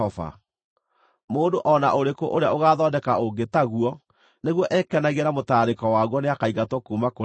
Mũndũ o na ũrĩkũ ũrĩa ũgathondeka ũngĩ taguo nĩguo ekenagie na mũtararĩko waguo nĩakaingatwo kuuma kũrĩ andũ ao.”